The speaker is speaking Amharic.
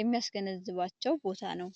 የሚያስገነዝባቸው ቦታ ነው።